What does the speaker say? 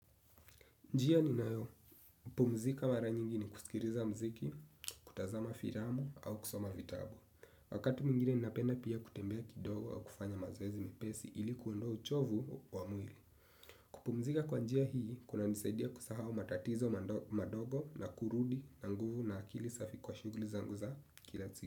Njia ninayo, pumzika mara nyingi ni kusikiliza mziki, kutazama filamu au kusoma vitabu. Wakati mwingine ninapenda pia kutembea kidogo au kufanya mazoezi mepesi ili kuondoa uchovu wa mwili. Kupumzika kwa njia hii, kuna nisaidia kusahau matatizo madogo na kurudi na nguvu na akili safi kwa shughuli zangu za kila siku.